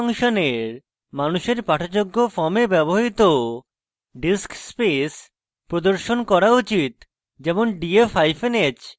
প্রথম ফাংশনের মানুষের পাঠযোগ্য form ব্যবহৃত diskspace প্রদর্শন করা উচিত যেমন: df hyphen h